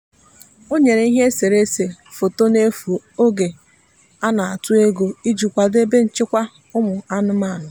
o nyere ihe eserese foto n'efu oge a na-atụ ego iji kwado ebe nchekwa ụmụ anụmanụ.